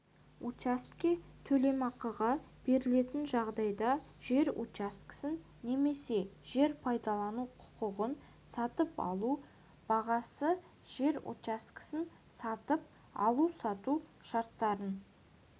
учаске төлемақыға берілетін жағдайда жер учаскесін немесе жер пайдалану құқығын сатып алу бағасы жер учаскесін сатып алу-сату шарттарын